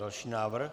Další návrh.